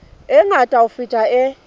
e ngata ho feta e